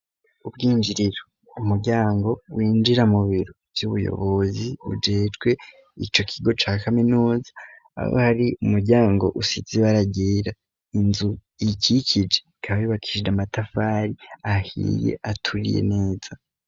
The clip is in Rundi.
Ubwinjiriro umuryango winjira mu biro vy'ubuyobozi ujerwe ico kigo ca kaminuza aho hari umuryango usize ibara ryera inzu ikikije ikaba yubakishije amatafari ahiye aturiye neza.